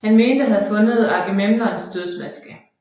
Han mente at have fundet Agamemnons dødsmaske